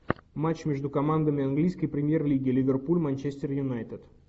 матч между командами английской премьер лиги ливерпуль манчестер юнайтед